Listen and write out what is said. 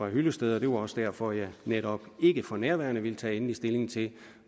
hyllested og det var også derfor jeg netop ikke for nærværende ville tage endelig stilling til